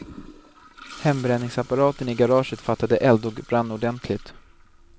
Hembränningsapparaten i garaget fattade eld och brann ordentligt.